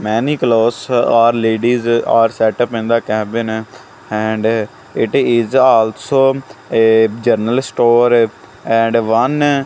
many clothes or ladies or setup in the cabin and it is also a general store and one --